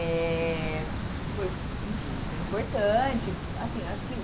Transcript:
Eh foi enfim, foi importante. Assim acho que